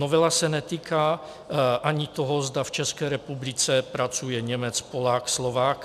Novela se netýká ani toho, zda v České republice pracuje Němec, Polák, Slovák.